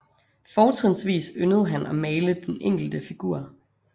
Fortrinsvis yndede han at male den enkelte figur